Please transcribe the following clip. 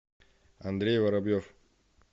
андрей воробьев